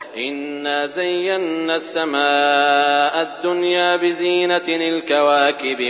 إِنَّا زَيَّنَّا السَّمَاءَ الدُّنْيَا بِزِينَةٍ الْكَوَاكِبِ